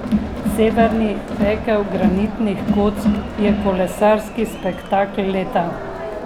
Severni pekel granitnih kock je kolesarski spektakel leta.